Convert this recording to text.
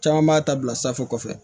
Caman b'a ta bila sanfɛ